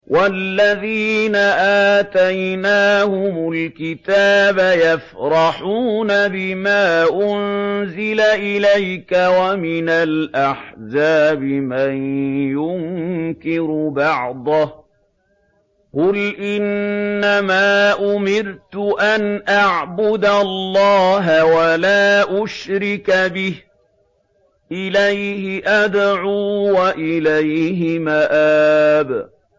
وَالَّذِينَ آتَيْنَاهُمُ الْكِتَابَ يَفْرَحُونَ بِمَا أُنزِلَ إِلَيْكَ ۖ وَمِنَ الْأَحْزَابِ مَن يُنكِرُ بَعْضَهُ ۚ قُلْ إِنَّمَا أُمِرْتُ أَنْ أَعْبُدَ اللَّهَ وَلَا أُشْرِكَ بِهِ ۚ إِلَيْهِ أَدْعُو وَإِلَيْهِ مَآبِ